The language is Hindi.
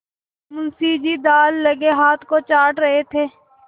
मुंशी जी दाललगे हाथ को चाट रहे थे